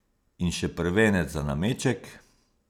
In še prvenec za nameček!